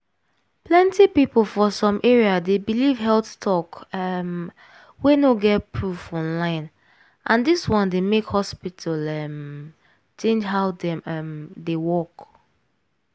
plenty people for some area dey believe health talk um wey no get proof online and dis one dey make hospital um change how dem um dey work.